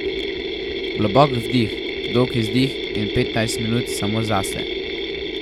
Globok vdih, dolg izdih in petnajst minut samo zase.